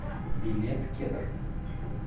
билет кедр